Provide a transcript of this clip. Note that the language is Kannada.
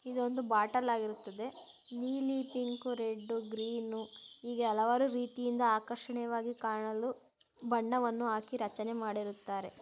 ಇದು ಒಂದು ಬಾಟಲ್ ಆಗಿರುತ್ತದೆ ನೀಲಿ ಪಿಂಕು ರೆಡ್ ಗ್ರೀನ್ ಹೀಗೆ ಹಲವಾರು ರೀತಿಯಿಂದ ಆಕರ್ಷಣೆಯವಾಗಿ ಕಾಣಲು ಬಣ್ಣವನ್ನು ಆಕಿ ರಚನೆ ಮಾಡಿರುತ್ತಾರೆ.